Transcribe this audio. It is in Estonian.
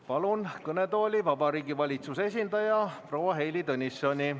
Palun kõnetooli Vabariigi Valitsuse esindaja proua Heili Tõnissoni.